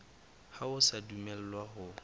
ha o a dumellwa ho